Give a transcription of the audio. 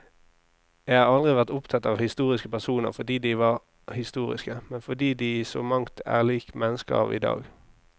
Jeg har aldri vært opptatt av historiske personer fordi de var historiske, men fordi de i så mangt er lik mennesker av i dag.